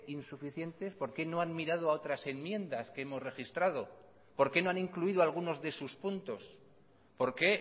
insuficientes por qué no han mirado a otras enmiendas que hemos registrado por qué no han incluido algunos de sus puntos por qué